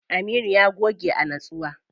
Aminu ya goge a nitsuwa.